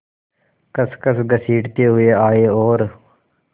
खसखस घसीटते हुए आए और